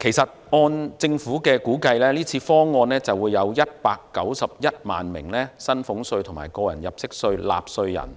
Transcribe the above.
其實，按政府估計，這次方案將會有191萬名薪俸稅及個人入息課稅納稅人，